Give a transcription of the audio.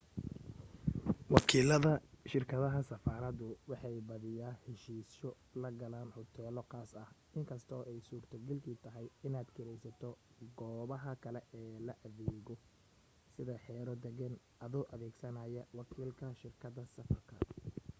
wakiilada shirkadaha safaradu waxay badiyaa heshiisyo la galaan huteelo khaas ah inkastoo ay suurto gal kii tahay inaad kiraysato goobaha kale ee la dego sida xero deegaan adoo adeegsanaya wakiilka shirkada safarka